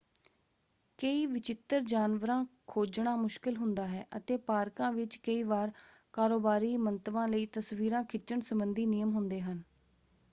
ਕਈ ਵਿਚਿੱਤਰ ਜਾਨਵਰਾਂ ਖੋਜਣਾ ਮੁਸ਼ਕਲ ਹੁੰਦਾ ਹੈ ਅਤੇ ਪਾਰਕਾਂ ਵਿੱਚ ਕਈ ਵਾਰ ਕਾਰੋਬਾਰੀ ਮੰਤਵਾਂ ਲਈ ਤਸਵੀਰਾਂ ਖਿੱਚਣ ਸਬੰਧੀ ਨਿਯਮ ਹੁੰਦੇ ਹਨ।